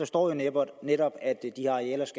står der jo netop